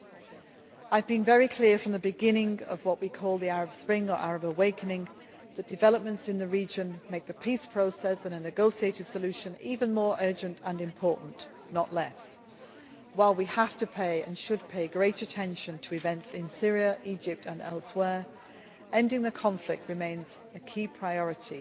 I have been very clear from the beginning of what we call the Arab Spring or Arab Awakening that developments in the region make the peace process and a negotiated solution even more urgent and important, not less. While we have to pay and should pay great attention to events in Syria, Egypt and elsewhere, ending the conflict remains a key priority